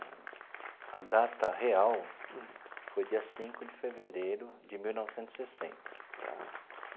A data real foi dia cinco de fevereiro de mil novecentos e sessenta tá.